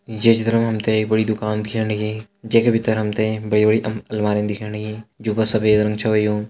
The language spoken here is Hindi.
में चित्र में हम्थे एक बड़ी दुकान दिख्याणी लंगी जे के भीतर हम्थे बड़ी-बड़ी अलमारी दिख्याणी लंगी जो सफ़ेद रंग च यूँ।